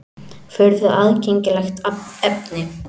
Furðu aðgengilegt efni!